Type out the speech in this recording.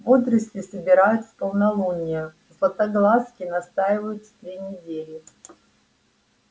водоросли собирают в полнолуние златоглазки настаиваются три недели